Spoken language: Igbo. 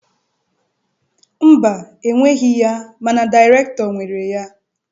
Mba, enweghị ya mana dịrektọ nwere ya.